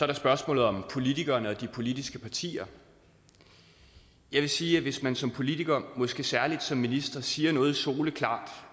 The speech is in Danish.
der spørgsmålet om politikerne og de politiske partier jeg vil sige at hvis man som politiker måske særlig som minister siger noget soleklart